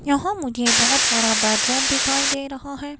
यहां मुझे बहुत बड़ा बेडरूम दिखाई दे रहा है।